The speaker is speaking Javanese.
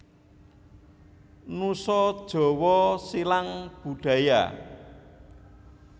Nusa Jawa Silang Budaya